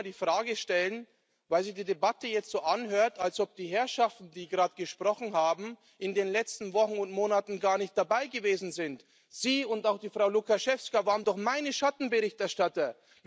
Ich will nur mal die Frage stellen, weil sich die Debatte jetzt so anhört, als ob die Herrschaften, die gerade gesprochen haben, in den letzten Wochen und Monaten gar nicht dabei gewesen wären Sie und auch die Frau Łukacijewska waren doch meine Schattenberichterstatter!